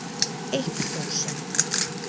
Eitt þúsund